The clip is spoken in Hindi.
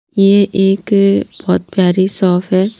ये एक बहुत प्यारी शॉफ है--